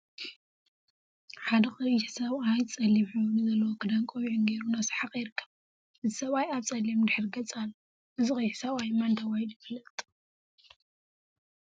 ሓደ ቀይሕ ሰብአት ፀሊም ሕብሪ ዘለዎ ክዳንን ቆቢዕን ገይሩ እናሰሓቀ ይርከብ፡፡ እዚ ሰብአይ አብ ፀሊም ድሕረ ገፅ አሎ፡፡ እዚ ቀይሕ ሰብአይ መን ተባሂሉ ይፍለጥ?